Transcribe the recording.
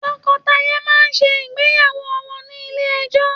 Tọkọtaya náà ṣe ìgbéyàwó wọn ní ilé ẹjọ.